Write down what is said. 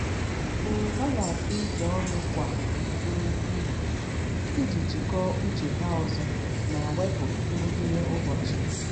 um Ha na-atụ uche ọnụ kwa um mgbede iji jikọọ uche ha ọzọ ma wepụ nrụgide ụbọchị.